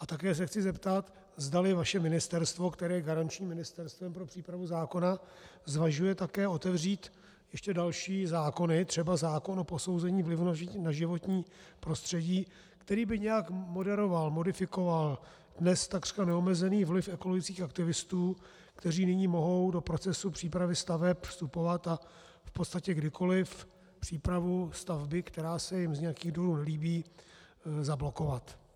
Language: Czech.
A také se chci zeptat, zdali vaše ministerstvo, které je garančním ministerstvem pro přípravu zákona, zvažuje také otevřít ještě další zákony, třeba zákon o posouzení vlivu na životní prostředí, který by nějak moderoval, modifikoval dnes takřka neomezený vliv ekologických aktivistů, kteří nyní mohou do procesu přípravy staveb vstupovat a v podstatě kdykoli přípravu stavby, která se jim z nějakých důvodů nelíbí, zablokovat.